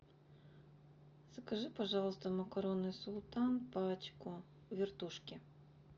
закажи пожалуйста макароны султан пачку вертушки